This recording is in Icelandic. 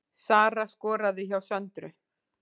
Sara skoraði hjá Söndru